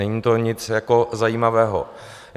Není to nic jako zajímavého.